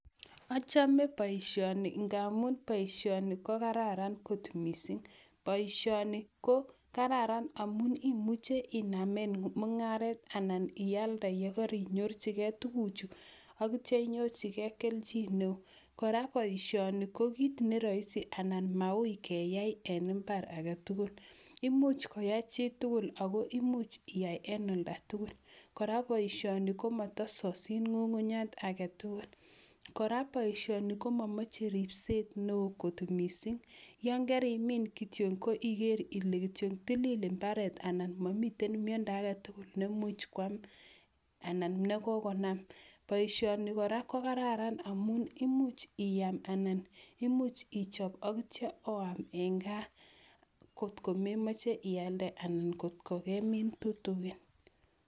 Achame boisioni ngamu boisioni ko kararan kot mising. Boisioni ko kararan amu imuchei iname mung'aret anan ialde yegor inyorchigei tuguchu agitio inyorchigei kelchin neo. Kora boisioni ko kit ne roisi anan maui keyai eng imbar age tugul. Imuch koyai chi tugul ago imuch iyai en olda tugul. Kora boisioni ko mata sosin ng'ung'unyat age tugul. Kora boisioni ko mamoche ribset neo kot mising. Yon karimin kityo ko iger ile kityo tilil imbaret anan mamite miendo age tugul nemuch kwam anan negogonam. Boisioni kora ko kararan amu imuch ayam anan imuch ichob agitio oam eng gaa kotko memoche ialde anan ngotko kemin tutugin.